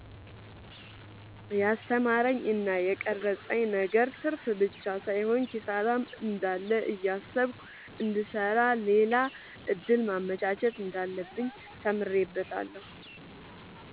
የስተማረኝ እና የቀረፀብኝ ነገር ትርፍብቻ ሳይሆን ኪሳራም እንዳለ እያሰብኩ እንድሰራ ሌላ እድል ማመቻቸት እንዳለብኝ ተምሬበታለሁ።